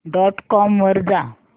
dot com वर जा